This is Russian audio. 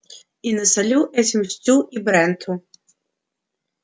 и насолю этим стю и бренту